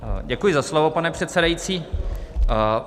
Děkuji za slovo, pane předsedající.